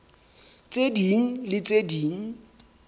tse ding le tse ding